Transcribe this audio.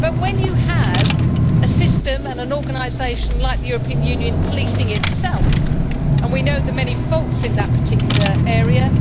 but when you have a system and an organisation like the European Union policing itself and we know the many faults in that particular area